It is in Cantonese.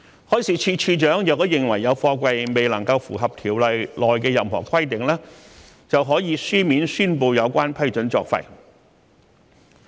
海事處處長若認為有貨櫃未能夠符合《條例》內的任何規定，就可以書面宣布有關批准作廢。